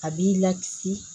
A b'i lakisi